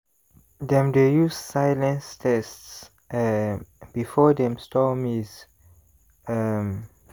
dem dey use silence tests um before dem store maize. um